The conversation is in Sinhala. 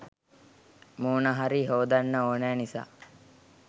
මූණ හරි හෝදන්න ඕනෑ නිසා